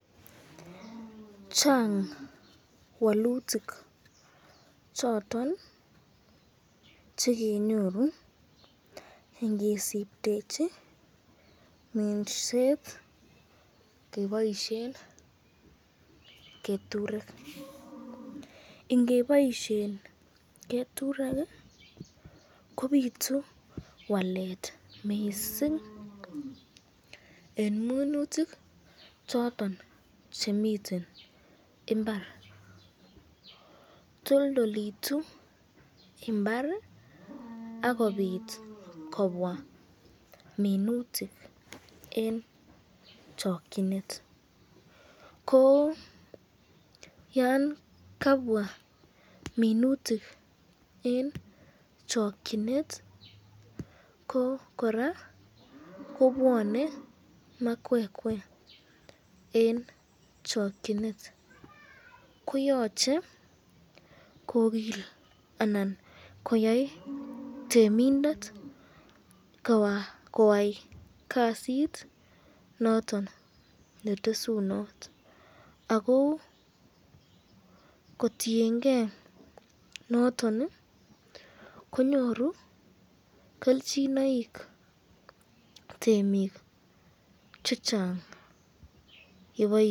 Chang walutik choton all chekenyoru ingisipbtechi minset keboisyen keturek, ingeboisyen keturek kobitu wallet mising eng minutik choton chemiten imbar, toldolitu imbar akobit kobwa minutik eng chakyinet, ko yan kabwa minut eng chokyinet kororaa ko